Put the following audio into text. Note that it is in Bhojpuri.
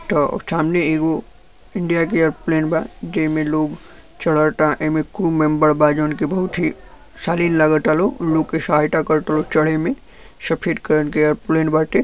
त सामने एगो इडिया के एयरप्लेन बा जेमें लोग चढ़ता एमें क्रू मेंबर बा जवन की बहुत ही सलीन लगता लोग लोग के सहायता कर ता लोग चढ़े में सफ़ेद कलर के एयरप्लेन बाटे |